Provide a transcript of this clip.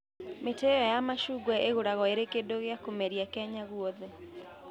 Mĩtĩ ĩyo ya macungwa ĩgũragwo ĩrĩ kĩndũ gĩa kũmeria Kenya guothe.